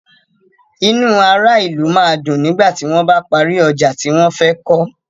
Inú ará ìlú máa dùn nígbà tí wón bá parí ọjà tí wón fẹ́ kọ́.